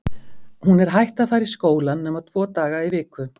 Hún er hætt að fara í skólann nema tvo daga í viku.